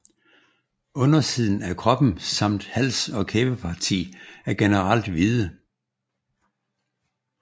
Undersiden af kroppen samt hals og kæbeparti er generelt hvide